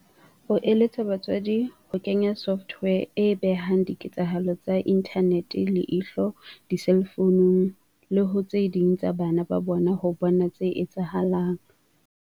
O eletsa batswadi ho kenya software e behang diketsahalo tsa inthanete leihlo diselfounung le ho tse ding tsa bana ba bona ho bona tse etsahalang.